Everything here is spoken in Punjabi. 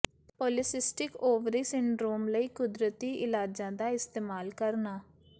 ਪੌਲੀਸਿਸਟਿਕ ਓਵਰੀ ਸਿਡਰੋਮ ਲਈ ਕੁਦਰਤੀ ਇਲਾਜਾਂ ਦਾ ਇਸਤੇਮਾਲ ਕਰਨਾ